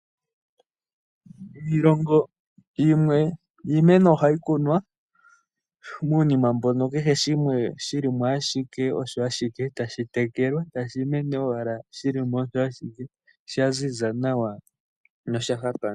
Kiilongo yimwe iimeno ohayi kunwa muunima mboka kehe shimwe shili mo ashike osho ashike tashitekelwa tashimene ashike shilimo osho ashike shaziza nawa nosha hapa.